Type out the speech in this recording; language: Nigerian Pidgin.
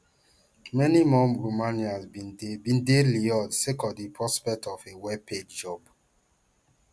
many more romanians bin dey bin dey lured sake of di prospect of a wellpaid job